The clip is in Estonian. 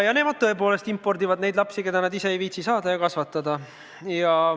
Nemad tõepoolest impordivad neid lapsi, keda nad ise ei viitsi saada ja kasvatada.